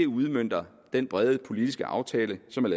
udmønter den brede politiske aftale som